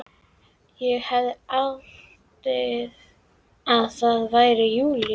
Ég hefði haldið að það væri júlí.